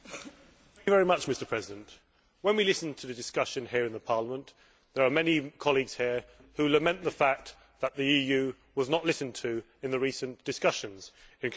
Mr President, when we listen to the discussion here in Parliament, there are many colleagues here who lament the fact that the EU was not listened to in the recent discussions in Copenhagen.